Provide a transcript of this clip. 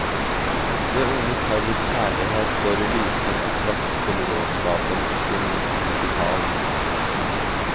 Det unge parets kjærlighet står i lysende kontrast til råskapen, ikke minst musikalsk.